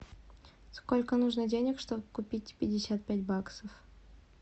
сколько нужно денег чтобы купить пятьдесят пять баксов